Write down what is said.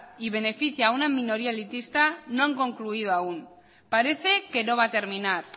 y beneficia a una minoría elitista no han concluido aún parece que no va a terminar